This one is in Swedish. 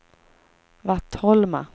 Vattholma